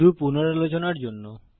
শুধু পুনরালোচনার জন্য